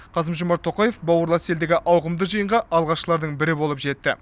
қасым жомарт тоқаев бауырлас елдегі ауқымды жиынға алғашқылардың бірі болып жетті